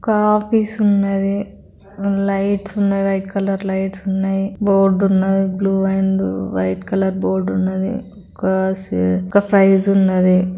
ఒక ఆఫీసు ఉన్నది. లైట్స్ ఉన్నవి. వైట్ కలర్ లైట్స్ ఉన్నాయి బోర్డు ఉన్నది. Blue and white colour board ఉన్నది. ఒక ఒక ప్రైస్ ఉన్నది.